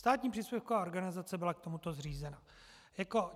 Státní příspěvková organizace byla k tomuto zřízena.